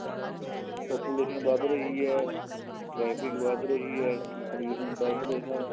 population ਵੱਧ ਰਹੀ ਹੈ ਟ੍ਰੈਫ਼ਿਕ ਵੱਧ ਰਹੀ ਹੈ pollution ਵੱਧ ਰਿਹਾ ਹੈ